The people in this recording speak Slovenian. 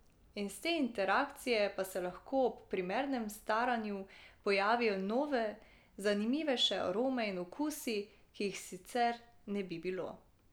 Iz te interakcije pa se lahko ob primernem staranju pojavijo nove, zanimivejše arome in okusi, ki jih sicer ne bi bilo.